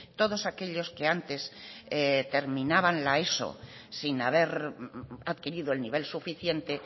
todos aquellos que antes terminaban la eso sin haber adquirido el nivel suficiente